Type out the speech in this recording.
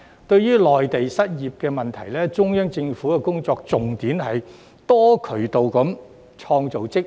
對於內地的失業問題，中央政府的工作重點是多渠道創造職位。